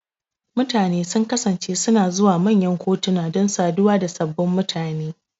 Mutane sun kasance suna zuwa manyan kantuna don saduwa da sababbin mutane.